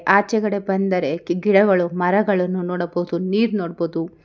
ಆಚೆಗಡೆ ಬಂದರೆ ಗಿಡಗಳು ಮರಗಳನ್ನು ನೋಡಬಹುದು ನೀರ ನೋಡ್ಬೋದು.